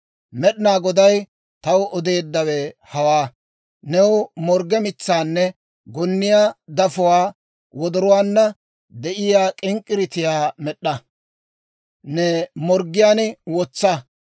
Med'inaa Goday taw odeeddawe hawaa; «New morgge mitsaanne gonniyaa dafuwaa wodoruwaanna de'iyaa k'ink'k'iriitiyaa med'd'a; ne morggiyaan wotsa.